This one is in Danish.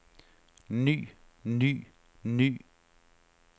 ny ny ny